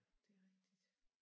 Det rigtigt